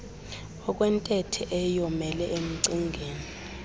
okwentethe eyomele emcingeni